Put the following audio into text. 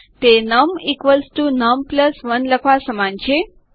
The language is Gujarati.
તે નમ num 1 લખવા સમાન જ છે